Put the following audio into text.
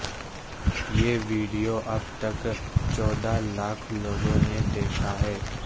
یہ ویڈیو اب تک چودہ لاکھ لوگوں نے دیکھا ہے